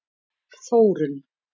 Þórunn